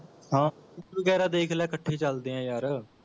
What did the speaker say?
ਹਾਂ ਵਗੈਰਾ ਦੇਖ ਲੈ ਇਕੱਠੇ ਚੱਲਦੇ ਆਂ ਯਾਰ